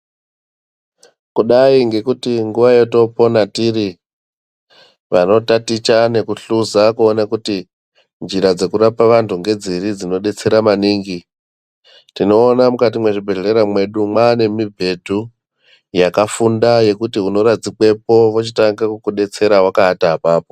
Kudai ngekuti nguwa yatinoona ndiri pavanotaticha nekuhluza kuona kuti njira dzinodetsera maningi tinoona kuti mukati mezvibhedhlera ngekuti Vakafunda votanga tidetsera vakaata apapo.